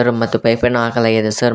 ಮತ್ತು ಪೈಪನ್ನು ಹಾಕಲಾಗಿದೆ ಸರ್ .